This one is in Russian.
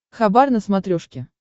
хабар на смотрешке